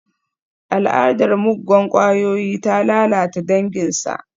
Al'adar muggan kwayoyi ta lalata danginsa.